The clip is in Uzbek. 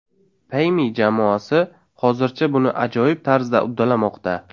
Payme jamoasi hozircha buni ajoyib tarzda uddalamoqda!